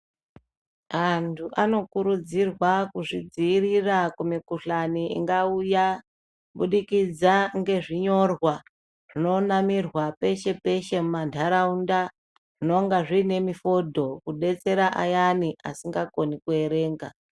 Antu anokurudzirwa kuzvidziirira kumikhuhlani ingauya, kubudikidza ngezvinyorwa zvinonamirwa peshe-peshe mumantaraunda, zvinonga zviine mifodho, kudetsera ayani asikakoni kuerenga.